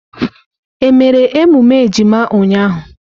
Emere emume ejima ụnyaahụ?